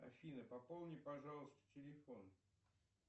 афина пополни пожалуйста телефон